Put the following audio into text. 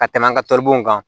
Ka tɛmɛ an ka taribon kan